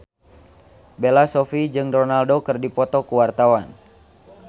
Bella Shofie jeung Ronaldo keur dipoto ku wartawan